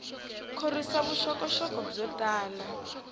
khorwisa vuxokoxoko byo tala